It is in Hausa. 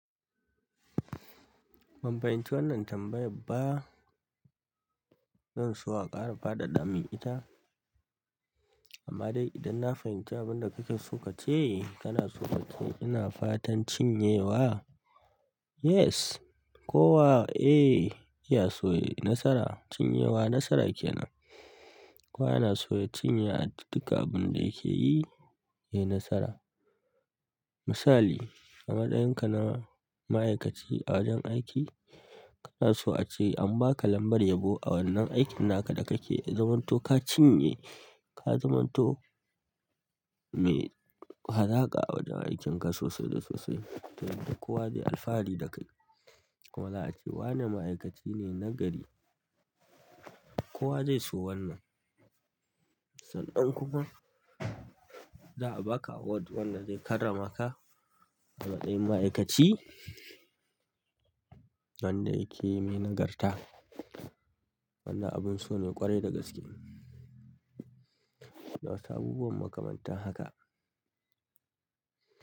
Ban fahimci wannan tambayar ba. Zan so a ƙara faɗaɗa min ita. Ama dai idan na fahimanci abinda kana so kace, kanaso kace ina fatan cinyewa? Yes, kowa, eh, ya so ya yi nasara. Cinyewa nasara ke nan. Kowa yana so ya cinye a duka abin da yake yi, yayi nasara. Misali, a matsayinka na ma'aikaci a wajen aiki, kana so a ce an ba ka lambar yabo a wannan aikin naka da kake zumunto ka cinye, ka zumunto mai halaka a wajen aikin ka sosai da sosai. Don kowa zai alfahari da kai. Kuma za a ce wane ma'aikaci ne nagari. Kowa zai so wannan. Sannan kuma za a ba ka award wanda zai karrama ka a matsayin ma'aikaci wanda yake mai nagarta. Wannan abin so ne ƙwarai da gaskiya nawasu abubuwan mu kamanta haka.